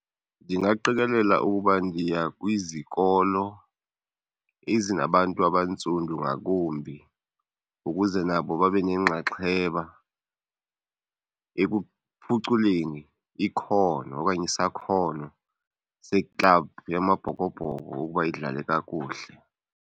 Ndingaqikelela ukuba ndiya kwizikolo ezinabantu abantsundu ngakumbi ukuze nabo babe nenxaxheba ekuphuculeni ikhono okanye isakhono seklabhu yamaBhokobhoko ukuba idlale kakuhle.